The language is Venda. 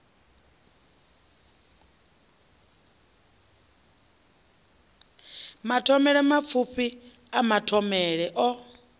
mathomele mapfufhi a mathomele o